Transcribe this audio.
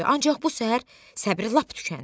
Ancaq bu səhər səbri lap tükəndi.